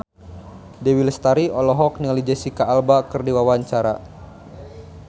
Dewi Lestari olohok ningali Jesicca Alba keur diwawancara